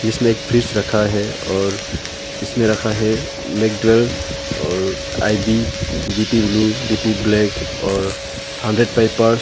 इसमे एक फ्रीज रखा है और इसमें रखा है मेकड्वेल और IB BP blue BP black और हंड्रेड पैपर्स --